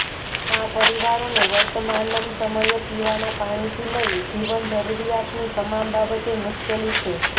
આ પરિવારોને વર્તમાનમ સમયે પીવાના પાણીથી લઈ જીવન જરૃરીયાતની તમામ બાબતે મુશ્કેલી છે